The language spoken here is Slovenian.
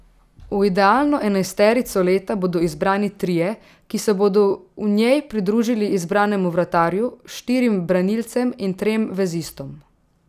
V idealno enajsterico leta bodo izbrani trije, ki se bodo v njej pridružili izbranemu vratarju, štirim branilcem in trem vezistom.